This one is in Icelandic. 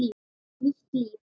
Nýtt líf.